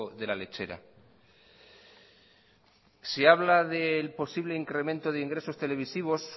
de la lechera se habla del posible incremento de ingresos televisivos